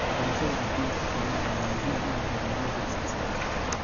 Waxbarashada caafimaadka xoolaha ayaa muhiim u ah horumarinta wax soo saarka.